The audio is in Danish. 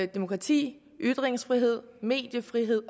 demokrati ytringsfrihed mediefrihed